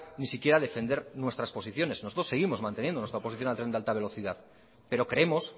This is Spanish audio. ni siquiera defender nuestras posiciones nosotros seguimos manteniendo nuestra oposición al tren de alta velocidad pero creemos